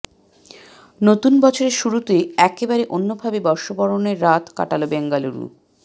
নতুন বছরের শুরুতে একেবারে অন্যভাবে বর্ষবরণের রাত কাটাল বেঙ্গালুরু